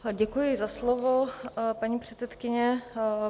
Děkuji za slovo, paní předsedkyně.